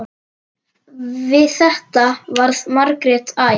Við þetta varð Margrét æf.